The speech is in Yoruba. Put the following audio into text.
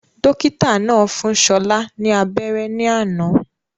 Dókítà náà fún Ṣọlá ni abéré ní àná